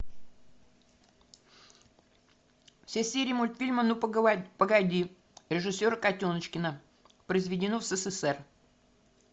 все серии мультфильма ну погоди режиссера котеночкина произведено в ссср